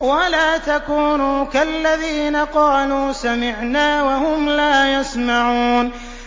وَلَا تَكُونُوا كَالَّذِينَ قَالُوا سَمِعْنَا وَهُمْ لَا يَسْمَعُونَ